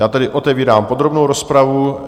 Já tedy otevírám podrobnou rozpravu.